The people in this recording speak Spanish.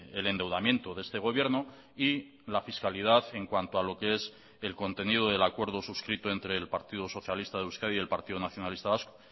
el endeudamiento de este gobierno y la fiscalidad en cuanto a lo que es el contenido del acuerdo suscrito entre el partido socialista de euskadi y el partido nacionalista vasco